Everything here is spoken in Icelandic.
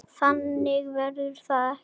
Þannig verður það ekki.